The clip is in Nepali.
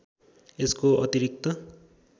यसको अतिरिक्त